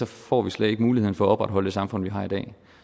får vi slet ikke mulighed for at opretholde det samfund vi har i dag